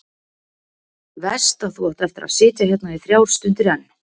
Veist að þú átt eftir að sitja hérna í þrjár stundir enn.